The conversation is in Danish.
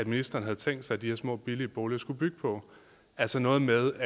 ministeren havde tænkt sig de her små billige boliger skulle bygge på altså noget med